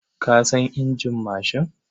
Ka san injin mashin?